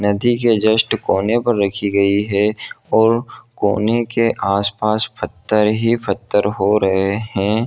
नदी के जस्ट कोने पे रखी गयी हैं और कोने के आस पास पत्थर ही पत्थर हो रहे हैं।